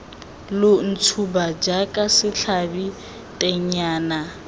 lo ntshuba jaaka setlhabi tennyana